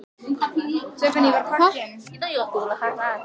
Þau hafa allt.